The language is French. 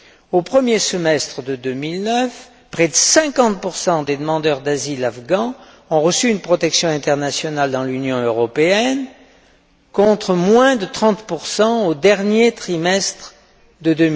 Au premier semestre de 2009, près de 50 des demandeurs d'asile afghans ont reçu une protection internationale dans l'Union européenne, contre moins de 30 au dernier trimestre de